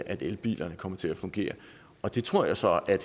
at elbilerne kommer til at fungere og det tror jeg så